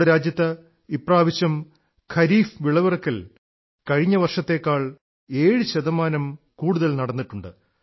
നമ്മുടെ രാജ്യത്ത് ഇപ്രാവശ്യം ഖരീഫ് വിളവിറക്കൽ കഴിഞ്ഞ വർഷത്തേക്കാൾ 7 ശതമാനം കൂടുതൽ നടന്നിട്ടുണ്ട്